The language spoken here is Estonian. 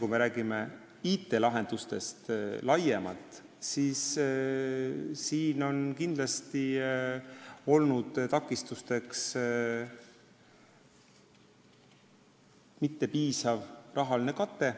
Kui me räägime IT-lahendustest laiemalt, siis siin on kindlasti takistuseks olnud mittepiisav rahaline kate.